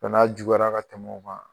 bana juguyara ka tɛmɛ o kan.